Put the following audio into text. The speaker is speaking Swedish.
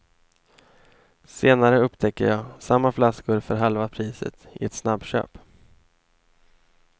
Senare upptäcker jag samma flaskor för halva priset i ett snabbköp.